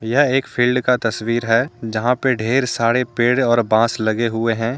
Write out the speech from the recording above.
यह एक फील्ड का तस्वीर है जहां पे ढेर सारे पेड़ और बांस लगे हुए हैं।